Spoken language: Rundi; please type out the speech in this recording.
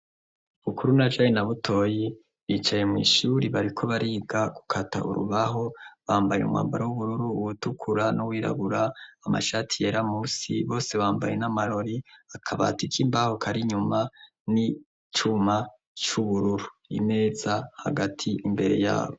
Bukuru na Joni na Butoyi bicaye mw'ishure bariko bariga gukata urubaho, bambaye umwambaro w'ubururu, uwutukura n'uwirabura, amashati yera musi, bose bambaye n'amarori, akabati k'imbaho kari inyuma n'icyuma c'ubururu, imeza hagati imbere yabo.